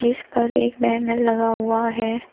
इस पर एक बैनर लगा हुआ है।